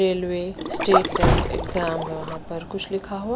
railway state level exam यहाँ पर कुछ लिखा हुआ--